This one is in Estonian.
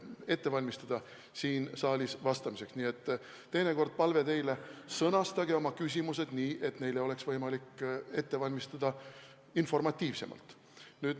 Nii et palve teile: teinekord sõnastage oma küsimused nii, et neile oleks võimalik vastata informatiivsemalt.